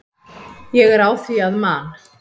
Ég er á því að Man.